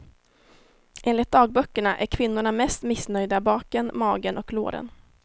Enligt dagböckerna är kvinnorna mest missnöjda baken, magen och låren.